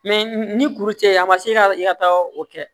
ni kuru cɛ a ma se ka i ka taa o kɛ